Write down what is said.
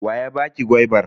Wa ya baki gwaibar?